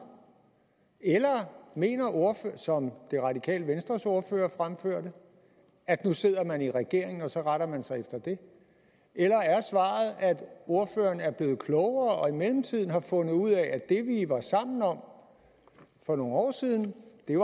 eller mener ordføreren som det radikale venstres ordfører fremførte at nu sidder man i regering og så retter man sig efter det eller er svaret at ordføreren er blevet klogere og i mellemtiden har fundet ud af at det vi var sammen om for nogle år siden